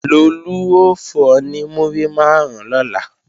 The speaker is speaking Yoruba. Lolú ó fún ọ ní múrí máàrún lọ́la